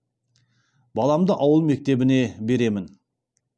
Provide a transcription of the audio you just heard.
баламды ауыл мектебіне беремін